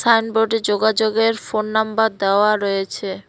সাইনবোর্ডে যোগাযোগের phone number দেওয়া রয়েছে।